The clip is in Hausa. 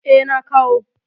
Eh, na kawo.